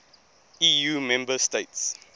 eu member states